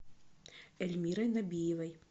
эльмирой набиевой